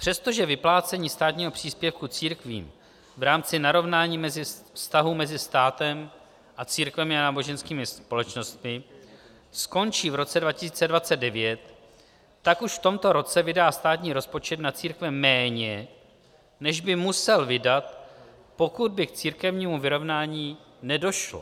Přestože vyplácení státního příspěvku církvím v rámci narovnání vztahů mezi státem a církvemi a náboženskými společnostmi skončí v roce 2029, tak už v tomto roce vydá státní rozpočet na církve méně, než by musel vydat, pokud by k církevnímu vyrovnání nedošlo.